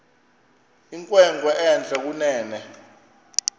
inkwenkwe entle kunene